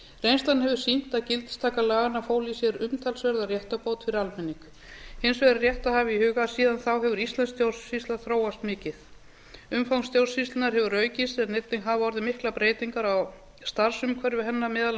reynslan hefur sýnt að gildistaka laganna fól í sér umtalsverða réttarbót fyrir almenning hins vegar er rétt að hafa í huga að síðan þá hefur íslensk stjórnsýsla þróast mikið umfang stjórnsýslunnar hefur aukist en einnig hafa orðið miklar breytingar á starfsumhverfi hennar meðal